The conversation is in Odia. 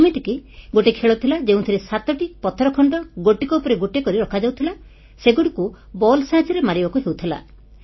ଯେମିତିକି ଗୋଟିଏ ଖେଳ ଥିଲା ଯେଉଁଥିରେ 7ଟି ପଥର ଖଣ୍ଡ ଗୋଟିକ ଉପରେ ଗୋଟିଏ କରି ରଖାଯାଉଥିଲା ସେଗୁଡ଼ିକୁ ବଲ୍ ସାହାଯ୍ୟରେ ମାରିବାକୁ ହେଉଥିଲା